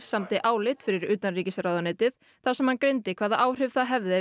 samdi álit fyrir utanríkisráðuneytið þar sem hann greindi hvaða áhrif það hefði